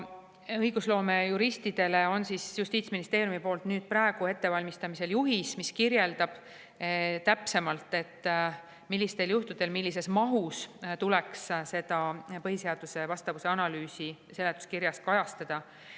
Justiitsministeerium valmistab praegu ette õigusloomejuristidele mõeldud juhist, mis kirjeldab täpsemalt, millistel juhtudel ja millises mahus tuleks põhiseadusele vastavuse analüüsi seletuskirjas kajastada.